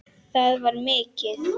Það var mikið.